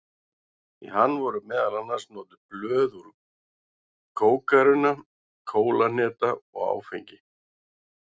Í hann voru meðal annars notuð blöð úr kókarunna, kólahneta og áfengi.